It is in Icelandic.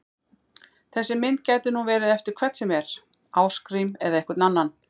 Þessi mynd gæti nú verið eftir hvern sem er, Ásgrím eða einhvern annan!